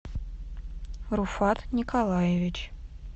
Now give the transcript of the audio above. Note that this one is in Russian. руфат николаевич